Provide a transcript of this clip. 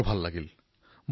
তাকো এনচিচি দিৱসত